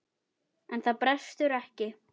En það brestur ekki.